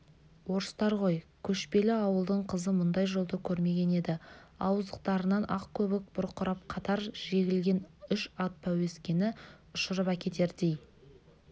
орыстар ғой көшпелі ауылдың қызы мұндай жолды көрмеген еді ауыздықтарынан ақ көбік бұрқырап қатар жегілген үш ат пәуескені ұшырып әкетердей